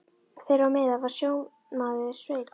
Þeirra á meðal var sjómaðurinn Sveinn.